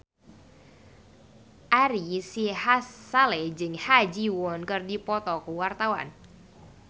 Ari Sihasale jeung Ha Ji Won keur dipoto ku wartawan